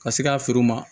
Ka se ka feere u ma